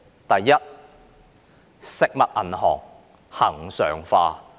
第一，食物銀行恆常化。